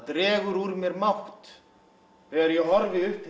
dregur úr mér mátt þegar ég horfi upp